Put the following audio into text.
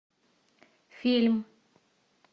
фильм